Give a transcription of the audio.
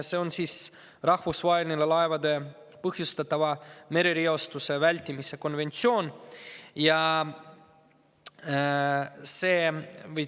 See on rahvusvaheline laevade põhjustatava merereostuse vältimise konventsioon.